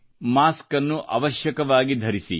ಮಾಸ್ಕನ್ನು ಅವಶ್ಯಕವಾಗಿ ಧರಿಸಿ